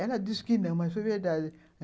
Ela disse que não, mas foi verdade.